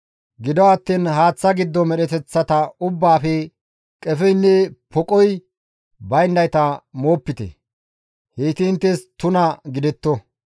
Gido attiin haaththa giddon medheteththa ubbaafe qefeynne poqoy bayndayta moopite; heyti inttes tuna gidetto.